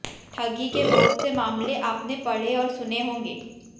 ठगी के बहुत से मामले आपने पढ़े और सुने होंगे